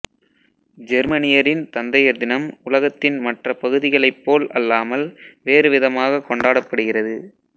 ஜெர்மனியரின் தந்தையர் தினம் உலகத்தின் மற்ற பகுதிகளைப் போல் அல்லாமல் வேறு விதமாகக் கொண்டாடப்படுகிறது